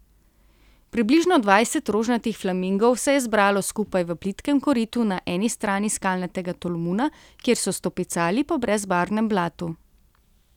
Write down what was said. Približno dvajset rožnatih flamingov se je zbralo skupaj v plitkem koritu na eni strani skalnatega tolmuna, kjer so stopicali po brezbarvnem blatu.